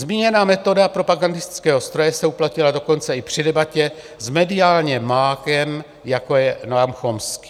Zmíněná metoda propagandistického stroje se uplatila dokonce i při debatě s mediálním mágem, jako je Noam Chomsky.